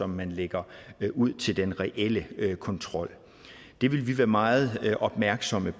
man lægger ud til den reelle kontrol det vil vi være meget opmærksomme